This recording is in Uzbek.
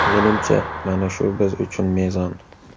Menimcha, mana shu biz uchun mezon.